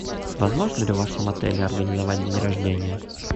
возможно ли в вашем отеле организовать день рождения